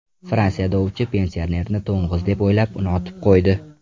Fransiyada ovchi pensionerni to‘ng‘iz deb o‘ylab, uni otib qo‘ydi.